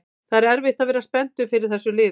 Það er erfitt að vera spenntur yfir þessu liði